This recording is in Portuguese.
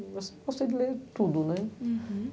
Eu gosto gosto de ler tudo, né? Uhum